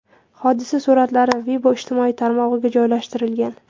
Hodisa suratlari Weibo ijtimoiy tarmog‘iga joylashtirilgan.